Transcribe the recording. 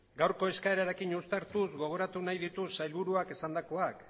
gaurko eskaerarekin uztartuz gogoratu nahi ditut sailburuak esandakoak